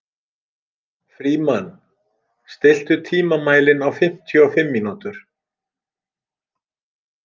Frímann, stilltu tímamælinn á fimmtíu og fimm mínútur.